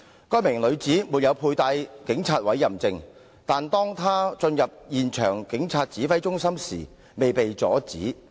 該名女子沒有佩帶警察委任證，但當她進入現場警察指揮中心時未被阻止。